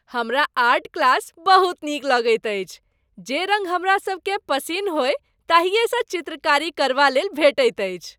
हमरा art class बहुत नीक लगैत अछि। जे रङ्ग हमरा सभकेँ पसिन हो ताहिएसँ चित्रकारी करबालेल भेटैत अछि।